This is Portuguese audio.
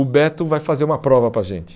O Beto vai fazer uma prova para a gente.